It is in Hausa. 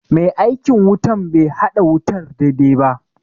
Mai aikin wutan be haɗa wutar daidai ba